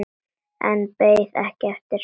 En beið ekki eftir svari.